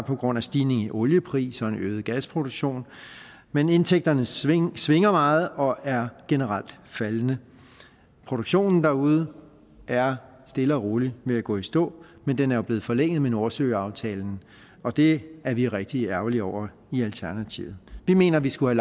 på grund af stigning i oliepris og en øget gasproduktion men indtægterne svinger svinger meget og er generelt faldende produktionen derude er stille og roligt ved at gå i stå men den er jo blevet forlænget med nordsøaftalen og det er vi rigtig ærgerlige over i alternativet vi mener vi skulle